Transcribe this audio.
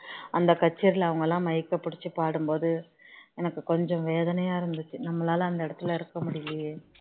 அந்த கச்சேரில அவனக்ளாம் க பிடிச்சி பாடும்போது எனக்கு கொஞ்சம் வேதனையா இருந்தது நம்மளால அந்த இடத்துல இருக்க முடியலயே